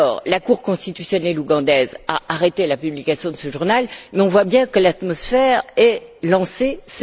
La Cour constitutionnelle ougandaise a fait arrêter la publication de ce journal, mais on voit bien que l'atmosphère est détériorée.